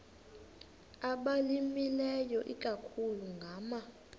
abalimileyo ikakhulu ngama